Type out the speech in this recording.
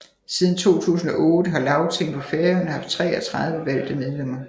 Siden 2008 har Lagtinget på Færøerne haft 33 valgte medlemmer